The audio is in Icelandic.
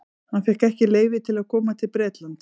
Hann fékk ekki leyfi til að koma til Bretlands.